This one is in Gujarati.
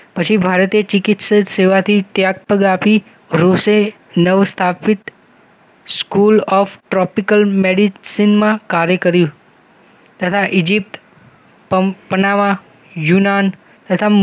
પછી ભારતીય ચિકિત્સા સેવાથી ત્યાગપદ આપી રોસેહ નવસ્થાપિત સ્કૂલ ઑફ ટ્રોપિકલ મેડિસિનમાં કાર્ય કર્યું તથા ઈજિપ્ત પંપ બનાવવા યૂનાન તથા